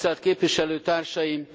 Képviselőtársaim!